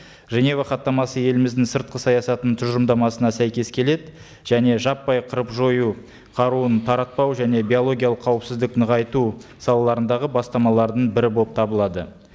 женева хаттамасы еліміздің сыртқы саясатының тұжырымдамасына сәйкес келеді және жаппай қырып жою қаруын таратпау және биологиялық қауіпсіздік нығайту салаларындағы бастамалардың бірі болып табылады